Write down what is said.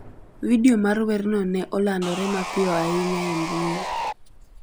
Vidio mar werno ne olandore mapiyo ahinya e mbui.